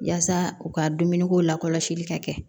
Yaasa u ka dumuniko la kɔlɔsili ka kɛ